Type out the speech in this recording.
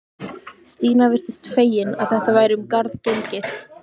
Stína virtist fegin að þetta væri um garð gengið.